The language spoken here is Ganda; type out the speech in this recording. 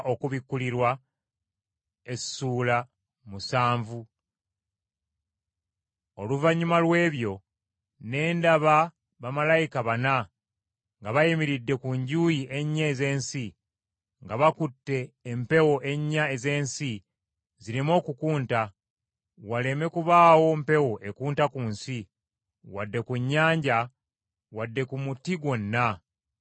Oluvannyuma lw’ebyo, ne ndaba bamalayika bana nga bayimiridde ku njuyi ennya ez’ensi, nga bakutte empewo ennya ez’ensi zireme okukunta, waleme kubaawo mpewo ekunta ku nsi, wadde ku nnyanja wadde ku muti gwonna.